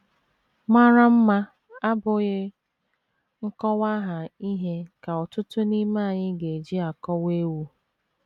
MARA mma abụghị nkọwaaha ihe ka ọtụtụ n’ime anyị ga - eji akọwa ewu.